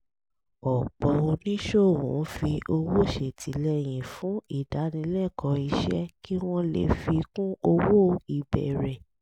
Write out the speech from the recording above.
ọ̀pọ̀ oníṣòwò ń fi owó ṣètìlẹyìn fún ìdánilẹ́kọ̀ọ́ iṣẹ́ kí wọ́n lè fi kún owó ìbẹ̀rẹ̀